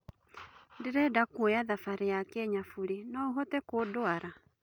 ndĩreda kũoya thabarĩ ya Kenya bũre ,,no ũhote kũndwara